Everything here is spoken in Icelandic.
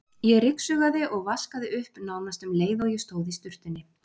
Ég ryksugaði og vaskaði upp nánast um leið og ég stóð í sturtunni.